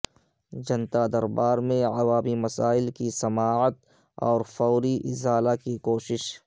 جنتا دربار میں عوامی مسائل کی سماعت اور فوری ازالہ کی کو شش